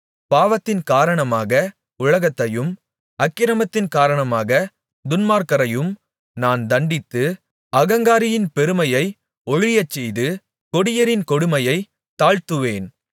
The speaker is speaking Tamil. பாவத்தின் காரணமாக உலகத்தையும் அக்கிரமத்தின் காரணமாக துன்மார்க்கரையும் நான் தண்டித்து அகங்காரரின் பெருமையை ஒழியச்செய்து கொடியரின் கொடுமையைத் தாழ்த்துவேன்